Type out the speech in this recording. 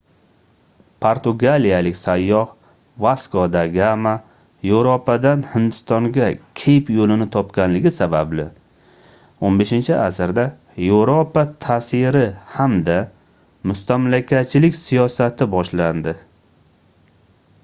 portugaliyalik sayyoh vasko da gama yevropadan hindistonga keyp yoʻlini topganligi sababli 15-asrda yevropa taʼsiri hamda mustamlakachilik siyosati boshlandi